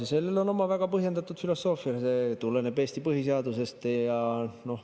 Ja selle taga on oma väga põhjendatud filosoofia, see tuleneb Eesti põhiseadusest.